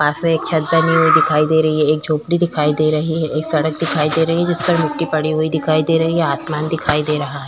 पास में एक छत बनी हुई दिखाई दे रही है एक झोपड़ी दिखाई दे रही है एक सड़क दिखाई दे रही है जिसपर मिट्टी पड़ी हुई दिखाई दे रही है आसमान दिखाई दे रहा--